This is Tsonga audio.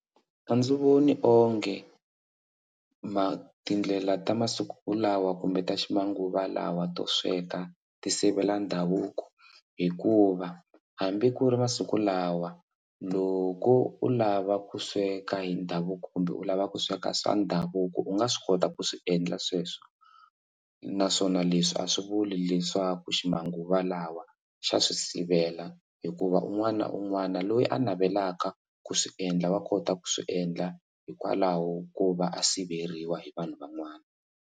A ndzi voni onge ma tindlela ta masiku lawa kumbe ta ma xinguvalawa to sweka ti sivela ndhavuko hikuva hambi ku ri masiku lawa loko u lava ku sweka hi ndhavuko kumbe u lava ku sweka swa ndhavuko u nga swi kota ku swi endla sweswo naswona leswi a swi vuli leswaku ximanguva lawa xa swi sivela hikuva un'wana na un'wana loyi a navelaka ku swiendla va kota ku swiendla hikwalaho ko va a siveriwa hi vanhu van'wana.